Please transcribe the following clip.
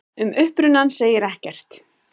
Um upprunann segir ekkert.